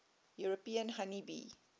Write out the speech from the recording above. european honey bee